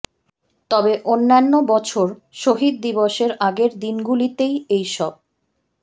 তবে অন্যান্য বছর শহিদ দিবসের আগের দিনগুলিতেই এই সব